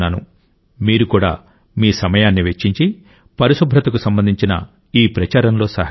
మీరు కూడా మీ సమయాన్ని వెచ్చించి పరిశుభ్రతకు సంబంధించిన ఈ ప్రచారంలో సహకరించండి